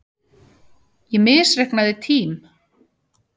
Ég misreiknaði tím